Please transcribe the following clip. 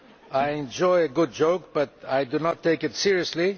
I enjoy a good joke, but I do not take it seriously.